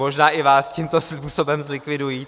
Možná i vás tímto způsobem zlikvidují.